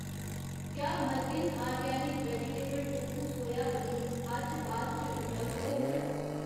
क्या Margins organic vegetable tofu soya paneer अज्ज बाद च उपलब्ध होग ?